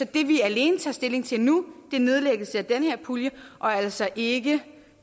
det vi alene tager stilling til nu er nedlæggelse af den her pulje og altså ikke